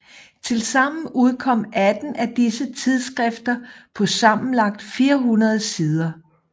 Tilsammen udkom 18 af disse tidsskrifter på sammenlagt 400 sider